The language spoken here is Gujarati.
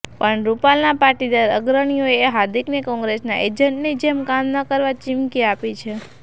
પણ રૂપાલના પાટીદાર અગ્રણીઓએ હાર્દિકને કોંગ્રેસના એજન્ટની જેમ કામ ન કરવા ચીમકી આપી છે